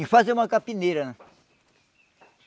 Em fazer uma capineira,